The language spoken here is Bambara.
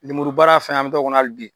Lenburu baara fɛnɛ an be taa o kɔnɔ hali bi.